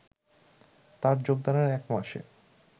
তার যোগদানের এক মাসে